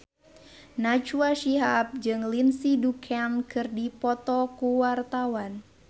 Najwa Shihab jeung Lindsay Ducan keur dipoto ku wartawan